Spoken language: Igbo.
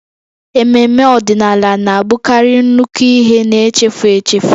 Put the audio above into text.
Ememme ọdịnala na-abụkarị nnukwu ihe na-echefu echefu